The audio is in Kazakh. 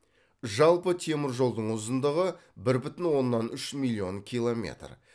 жалпы темір жолдың ұзындығы бір бүтін оннан үш миллион километр